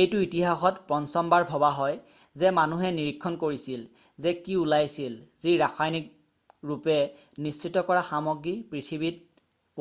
এইটো ইতিসাহত পঞ্চমবাৰ ভবা হয় যে মানুহে নিৰীক্ষণ কৰিছিল যে কি ওলাইছিল যি ৰাসায়নিক ৰূপে নিশ্চিত কৰা সামগ্ৰী পৃথিৱীত